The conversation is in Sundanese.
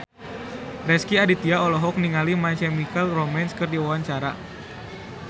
Rezky Aditya olohok ningali My Chemical Romance keur diwawancara